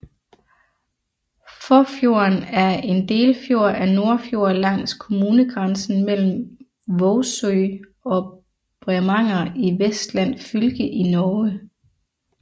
Fåfjorden er en delfjord af Nordfjord langs kommunegrænsen mellem Vågsøy og Bremanger i Vestland fylke i Norge